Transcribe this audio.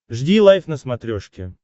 жди лайв на смотрешке